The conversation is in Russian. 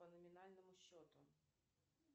по номинальному счету